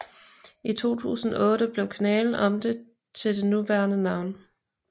I 2008 blev kanalen omdøbt til det nuværende navn